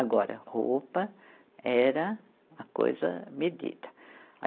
Agora, roupa era uma coisa medida.